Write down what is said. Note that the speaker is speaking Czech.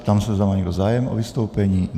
Ptám se, zda má někdo zájem o vystoupení.